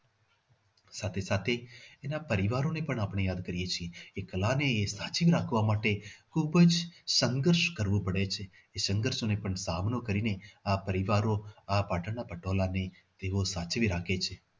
સાથે સાથે એના પરિવારોને પણ આપને યાદ કરીએ છીએ એ કલાને સાચવી રાખવા માટે ખૂબ જ સંઘર્ષ કરવો પડે છે સંઘર્ષ અને તાપ નો સામનો કરીને આ પરિવારો આ પાટણના પટોળાને તેઓ સાચવી રાખે છે.